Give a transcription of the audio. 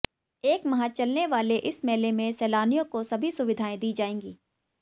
एक माह चलने वाले इस मेला में सैलानियों को सभी सुविधाएं दी जाएंगी